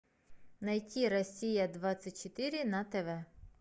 найти россия двадцать четыре на тв